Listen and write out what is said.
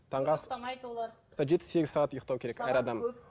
таңғы ас жеті сегіз сағат ұйықтау керек әр адам